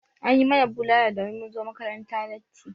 An yi mana bulala domin mun zo makaranta latti.